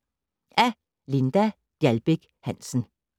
Af Linda Gjaldbæk Hansen